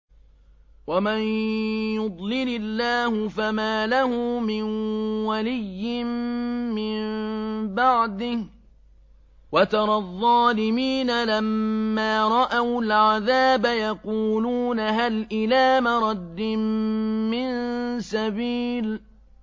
وَمَن يُضْلِلِ اللَّهُ فَمَا لَهُ مِن وَلِيٍّ مِّن بَعْدِهِ ۗ وَتَرَى الظَّالِمِينَ لَمَّا رَأَوُا الْعَذَابَ يَقُولُونَ هَلْ إِلَىٰ مَرَدٍّ مِّن سَبِيلٍ